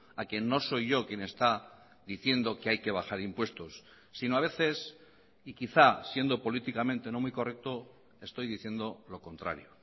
a que no soy yo quien está diciendo que hay que bajar impuestos sino a veces y quizás siendo políticamente no muy correcto estoy diciendo lo contrario